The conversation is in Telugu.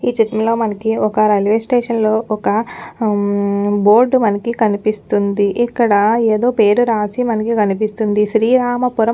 ఈ చిత్రంలో మనకి ఒక్క రైలువే స్టేషన్ లో ఒక్క బోర్డ్ మనకి కనిపిస్తుందిఇక్కడ ఏదో పేరు రాసి మనకి కనిపిస్తుందిశ్రీరామపురం అని ఒక్క